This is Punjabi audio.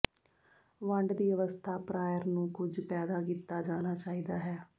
ਵੰਡ ਦੀ ਅਵਸਥਾ ਪ੍ਰਾਇਰ ਨੂੰ ਕੁਝ ਪੈਦਾ ਕੀਤਾ ਜਾਣਾ ਚਾਹੀਦਾ ਹੈ